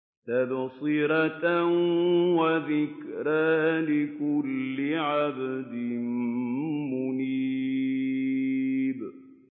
تَبْصِرَةً وَذِكْرَىٰ لِكُلِّ عَبْدٍ مُّنِيبٍ